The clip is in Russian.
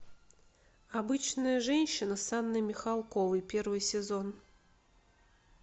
обычная женщина с анной михалковой первый сезон